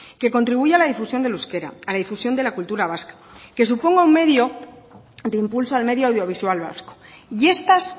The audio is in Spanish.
que contribuya la difusión del euskera a la difusión de la cultura vasca que suponga un medio de impulso al medio audiovisual vasco y estas